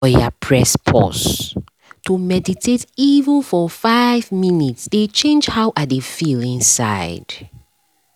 oya press pause — to meditate even for five minutes dey change how i dey feel inside